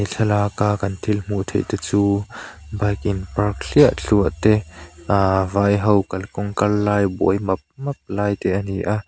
thlalak a kan thil hmuh theih te chu bike in park thliah thluah te ahh vai ho kalkawng kal lai buai map map lai te ani a.